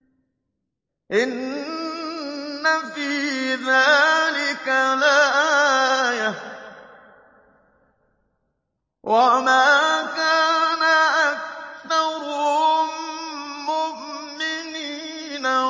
إِنَّ فِي ذَٰلِكَ لَآيَةً ۖ وَمَا كَانَ أَكْثَرُهُم مُّؤْمِنِينَ